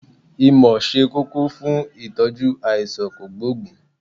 ìmọ̀ se kókó funìitọ́jú aisan kogboogun